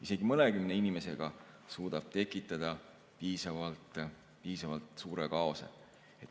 Isegi mõnekümne inimesega suudab tekitada piisavalt suure kaose.